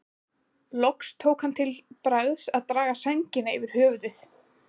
Loks tók hann það til bragðs að draga sængina yfir höfuðið.